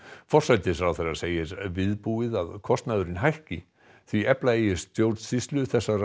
forsætisráðherra segir viðbúið að kostnaðurinn hækki því efla eigi stjórnsýslu þessara